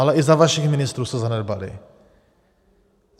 Ale i za vašich ministrů se zanedbaly.